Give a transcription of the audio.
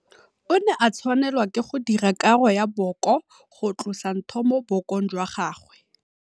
O ne a tshwanelwa ke go dira karo ya booko go tlosa ntho mo bookong jwa gagwe.